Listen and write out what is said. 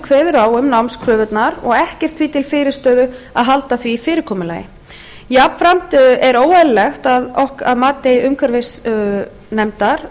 kveður á um námskröfurnar og ekkert því til fyrirstöðu að halda því fyrirkomulagi jafnframt er óeðlilegt að mati umhverfisnefndar